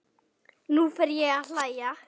Nú fer ég að hlæja.